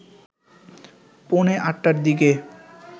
পৌনে ৮টার দিকে